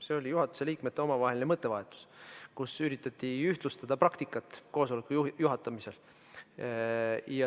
See oli juhatuse liikmete omavaheline mõttevahetus, kus üritati ühtlustada praktikat koosoleku juhatamisel.